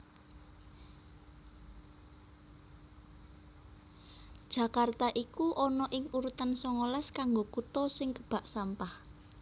Jakarta iku ono ing urutan songolas kanggo kuto sing kebak sampah